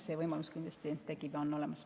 See võimalus kindlasti tekib ja on olemas.